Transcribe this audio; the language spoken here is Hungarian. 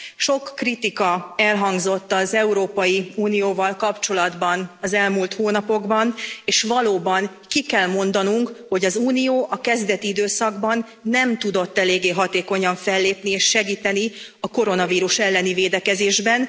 Sok kritika elhangzott az Európai Unióval kapcsolatban az elmúlt hónapokban és valóban, ki kell mondanunk, hogy az Unió a kezdeti időszakban nem tudott eléggé hatékonyan fellépni és segíteni a koronavírus elleni védekezésben.